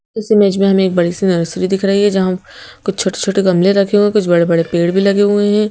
इस इमेज में हमें एक बड़ी सी नर्सरी दिख रही है जहां कुछ छोटे-छोटे गमले रखे हुए हैं कुछ बड़े-बड़े पेड़ भी लगे हुए हैं।